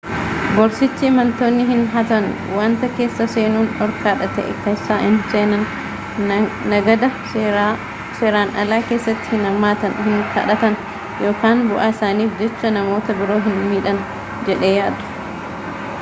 gorsichi imaltoonni hin hatan wanta keessa seenuun dhorkaa ta'e keessa hin seenan nagada seeraan alaa keessatti hin hirmaatan hin kadhatan yookaan bu'aa isaaniif jecha namoota biroo hin miidhan jedhee yaada